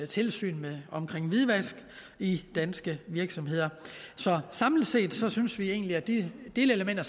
tilsyn med hvidvask i danske virksomheder så samlet set synes vi egentlig at de delelementer